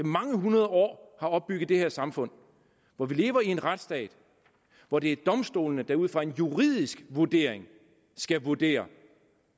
mange hundrede år har opbygget det her samfund hvor vi lever i en retsstat hvor det er domstolene der ud fra en juridisk vurdering skal vurdere